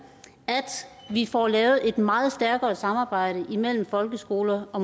at vi får lavet et meget stærkere samarbejde imellem folkeskoler og